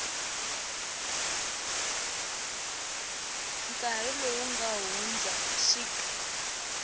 nkarhi lowu nga hundza xik